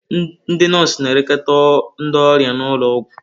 Ndị nọọsụ na-elekọta ndị ọrịa n'ụlọ ọgwụ.